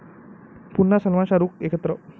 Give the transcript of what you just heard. पुन्हा सलमान शाहरूख एकत्र